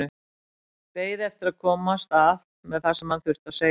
Beið eftir að komast að með það sem hann þurfti að segja.